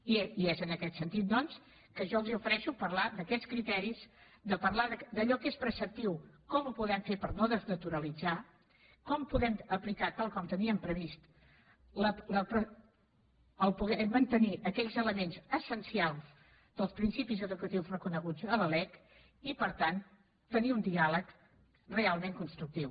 i és en aquest sentit doncs que jo els ofereixo parlar d’aquests criteris parlar de allò que és preceptiu com ho podem fer per no desnaturalitzar ho com podem aplicar tal com teníem previst poder mantenir aquells elements essencials dels principis educatius reconeguts a la lec i per tant tenir un diàleg realment constructiu